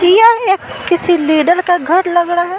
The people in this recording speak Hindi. किसी लीडर का घर लग रहा है।